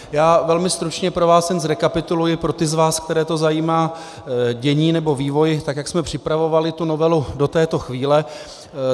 Já velmi stručně pro vás jen zrekapituluji, pro ty z vás, které to zajímá, dění nebo vývoj, tak jak jsme připravovali tu novelu do této chvíle.